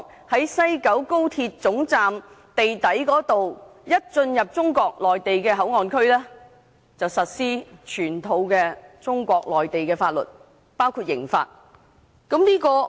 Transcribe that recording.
只要一經西九高鐵總站地底進入中國內地口岸區，便即時實施全套中國法律，包括刑法。